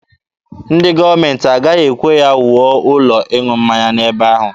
Ndị gọọmenti agaghị ekwe ha wuo ụlọ ịṅụ mmanya n'ebe ahụ.